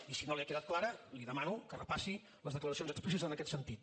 i si no li ha quedat clara li demano que repassi les declaracions explícites en aquest sentit